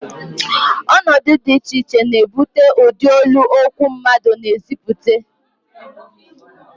Ọnọdụ dị iche iche na-ebute ụdị olu okwu mmadụ na-ezipụta